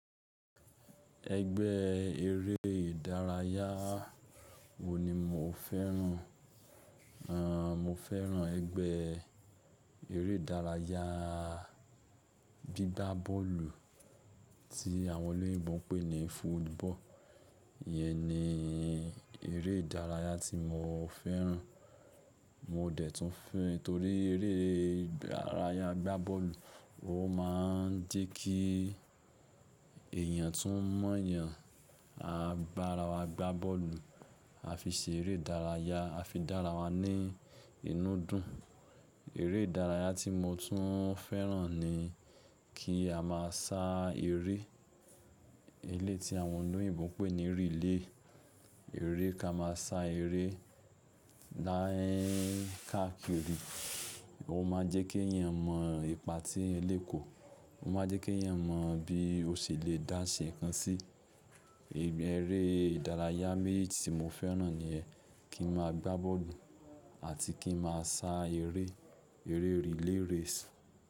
Ẹgbẹ́ eré ìdárayá wo ni mo fẹ́ràn? Aah, mo fẹ́ràn ẹgbẹ́ eré ìdárayá gbígbá bọ́ọ̀lù tí àwọn olóyìnbo ń pè ní football. Iyẹn ni eré ìdárayá tí mo fẹ́ràn. Mo dẹ̀ tún fẹ́ torí eré ìdárayá gbá bọ́ọ̀lù, ó máa ń jẹ́ kí èèyàn tún mọ èèyàn, a bá ara wa gbá bọ́ọ̀lù, a fi ṣe eré ìdárayá, a fi dá ara wá ní ìnúdù. Eré ìdárayá tí mo tún fẹ́ràn ni kí a má a sa eré, eléyi tí àwọn olóyìnbo ń pè ní relay. Eré kí a máa sa eré láàákẹ́rí, ó máa jẹ́ kí ẹ̀yàn mọ ipa tí eeyan kò, ó máa jẹ́ kí ẹ̀eyàn mọ bí ó ṣe lè dáṣẹ nǹkan sí. Eré ìdárayá méjì tí mo fẹ́ràn niyẹn, kí n má a gbá bọ́ọ̀lù àti kí n máa sa eré, eré relay race.